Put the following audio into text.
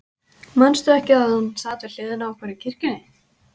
Manstu ekki að hann sat við hliðina á okkur í kirkjunni?